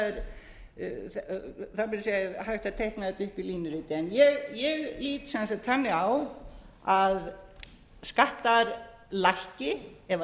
segja hægt á teikna þetta upp í línuriti ég lít sem sagt þannig á að skattar lækki ef